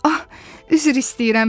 Ah, üzr istəyirəm,